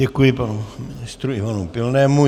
Děkuji panu ministrovi Ivanu Pilnému.